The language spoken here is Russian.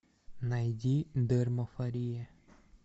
найди дермафория